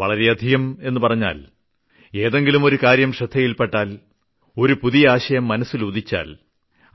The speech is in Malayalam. വളരെയധികം എന്നു പറഞ്ഞാൽ ഏതെങ്കിലും ഒരു കാര്യം ശ്രദ്ധയിൽപ്പെട്ടാൽ ഒരു പുതിയ ആശയം മനസ്സിലുദിച്ചാൽ